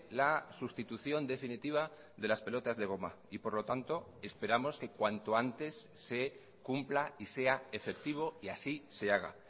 la sustitución definitiva de las pelotas de goma y por lo tanto esperamos que cuanto antes se cumpla y sea efectivo y así se haga